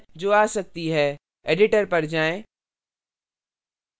editor पर जाएँ